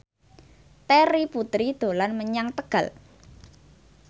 Terry Putri dolan menyang Tegal